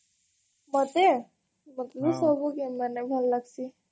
ମତେ? ମତେ ସବୁ game ମାନେ ଭଲ୍ ଲଗଶି